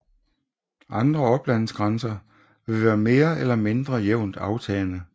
Andre oplandsgrænser vil være mere eller mindre jævnt aftagende